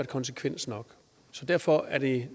konsekvens så derfor er det